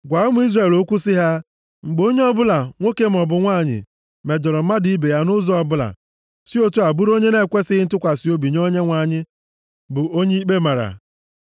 “Gwa ụmụ Izrel okwu sị ha, ‘Mgbe onye ọbụla, nwoke maọbụ nwanyị, mejọrọ mmadụ ibe ya nʼụzọ ọbụla, si otu a bụrụ onye na-ekwesighị ntụkwasị obi nye Onyenwe anyị bụ onye ikpe mara.